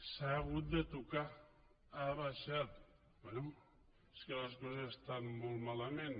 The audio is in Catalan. s’ha hagut de tocar ha baixat bé és que les coses estan molt malament